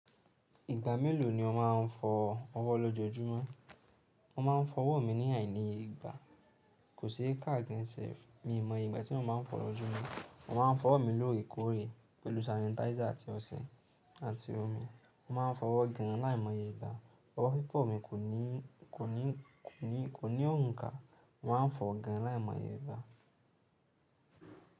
Ìgbà mélòó ni o máa ń fọ ọwọ́ lójoójúmọ́? Mo máa ń fọwọ́ mi ní àìmoye igba. Kò sí car gan self. Mi ò mọ'ye ìgbà tí mo máa ń fọ lójúmọ́. Mo máa ń fọwọ́ mi lóòrèkóòrè pẹ̀lú sanitizer àti ọṣẹ àti omi. Mo máa ń fọwọ́ gan láìmọye ìgbà. Ọwọ́ fífọ̀ mi kò ní òǹkà. Mo maá ń fọ gan láìmọye ìgbà.